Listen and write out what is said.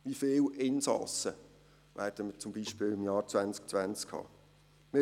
Wie viele Insassen werden wir beispielsweise im Jahr 2020 haben?